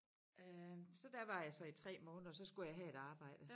Øh så der var jeg så i 3 måneder så skulle jeg have et arbejde